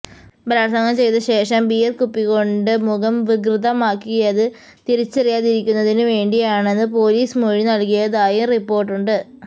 ബലാൽസംഗം ചെയ്തശേഷം ബിയർ കുപ്പികൊണ്ട് മുഖം വികൃതമാക്കിയത് തിരിച്ചറിയാതിരിക്കുന്നതിനുവേണ്ടിയാണെന്ന് പൊലീസിന് മൊഴി നൽകിയതായും റിപ്പോർട്ടുണ്ട്